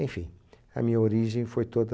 Enfim, a minha origem foi toda